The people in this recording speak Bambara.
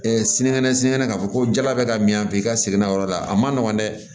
sinikɛnɛ sinikɛnɛ k'a fɔ ko jala bɛ ka min i ka segin na yɔrɔ la a ma nɔgɔn dɛ